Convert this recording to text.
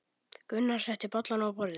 Gunnar setti bollana á borðið.